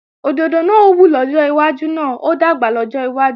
Òdòdó náà ó wù lọ́jọ́ iwájú náà ó dàgbà lọ́jọ́ iwájú